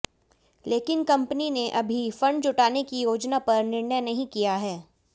लेकिन कंपनी ने अभी फंड जुटाने की योजना पर निर्णय नहीं किया है